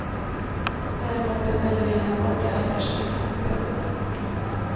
Däremot beställde vi in en åtta rätters middag. punkt